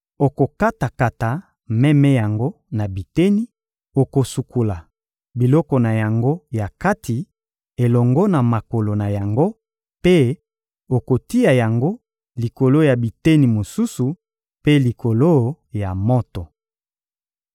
Okokata-kata meme yango na biteni, okosukola biloko na yango ya kati elongo na makolo na yango mpe okotia yango likolo ya biteni mosusu mpe likolo ya moto.